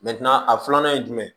a filanan ye jumɛn ye